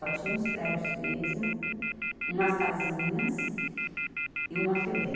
Só tinha uns prédios mesmo, umas casinhas e uma Febem.